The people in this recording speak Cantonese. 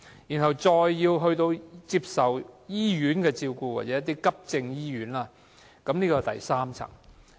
若再需要接受醫院的照顧或急症醫院，這是第三層。